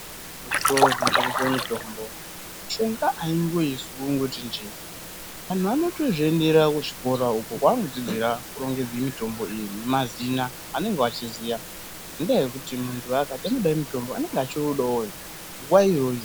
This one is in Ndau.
Muzvitoro zvinotengeswe mitombo, mishonga haingoizwi kungoti njee antu anotozviendera kuzvikora uko kwaanodzidzira kurongedze mitombo iyi nemazina anenge eiziya. Ngenda yekuti muntu akati unode mutombo ,anenge achiudawo nguwa iyoyo.